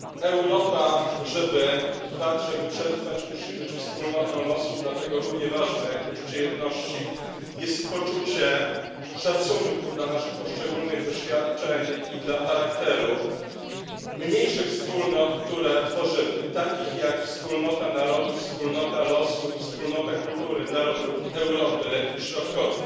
Europa żeby trwać, żeby przetrwać, musi być wspólnotą losu, dlatego równie ważne jak poczucie jedności jest poczucie szacunku dla naszych poszczególnych doświadczeń i dla charakteru mniejszych wspólnot, które tworzymy, takich jak wspólnota narodów, wspólnota losu i wspólnota kultury narodów Europy Środkowej.